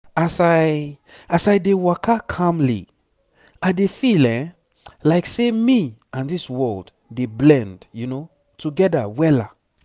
as i as i dey waka calmly i dey feel eh like say me and this world dey blend together wella